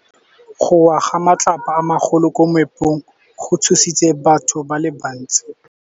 Go wa ga matlapa a magolo ko moepong go tshositse batho ba le bantsi.